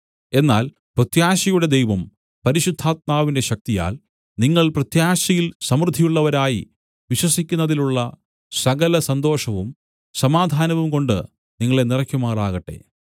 എന്നാൽ പ്രത്യാശയുടെ ദൈവം പരിശുദ്ധാത്മാവിന്റെ ശക്തിയാൽ നിങ്ങൾ പ്രത്യാശയിൽ സമൃദ്ധിയുള്ളവരായി വിശ്വസിക്കുന്നതിലുള്ള സകല സന്തോഷവും സമാധാനവും കൊണ്ട് നിങ്ങളെ നിറയ്ക്കുമാറാകട്ടെ